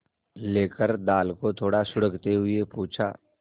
लेकर दाल को थोड़ा सुड़कते हुए पूछा